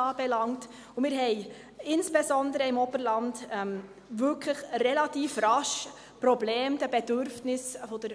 Wir haben insbesondere im Oberland wirklich relativ rasch Probleme, den Bedürfnissen der